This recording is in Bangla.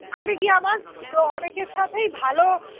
তাহলে কি আমার অনেকের সাথেই ভালো